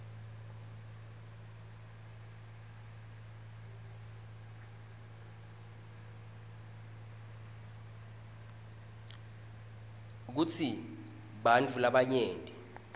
kutsi bantfu labanyenti